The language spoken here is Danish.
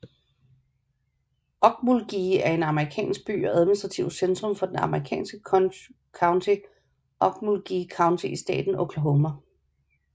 Okmulgee er en amerikansk by og administrativt centrum for det amerikanske county Okmulgee County i staten Oklahoma